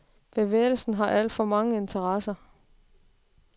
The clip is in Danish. Bevægelsen har alt for mange interesser.